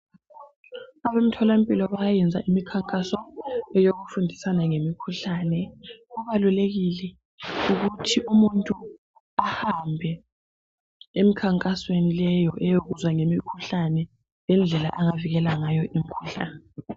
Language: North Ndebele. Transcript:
Abemtholampilo bayayenza imikhankaso eyokufundisana ngemikhuhlane kubalulekile ukuthi umuntu ahambe emikhankasweni leyo eyokuzwa ngemikhuhlane lendlela angavikela ngayo imikhuhlane.